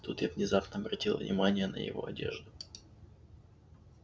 тут я внезапно обратила внимание на его одежду